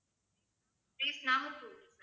place Nagercoil